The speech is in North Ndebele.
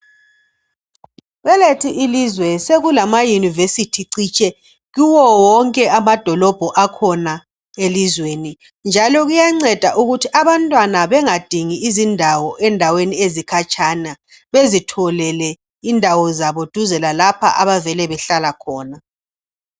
Kwelethu ilizwe sekulamayunivesithi citshe kuwo wonke amadolobho akhona elizweni njalo kuyanceda ukuthi abantwana bengadingi izindawo endaweni ezikhatshana bezitholele indawo zabo duze lalapha abavele behlala khona.